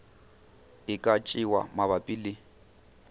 e ka tšewa mabapi le